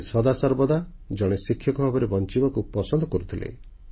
ସେ ସଦାସର୍ବଦା ଜଣେ ଶିକ୍ଷକ ଭାବେ ବଞ୍ଚିବାକୁ ପସନ୍ଦ କରୁଥିଲେ